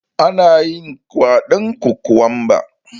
Anayin kwaɗon kokwamba